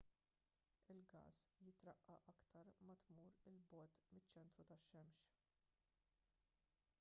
il-gass jitraqqaq iktar ma tmur il bogħod miċ-ċentru tax-xemx